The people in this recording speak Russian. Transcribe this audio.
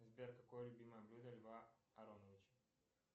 сбер какое любимое блюдо льва ароновича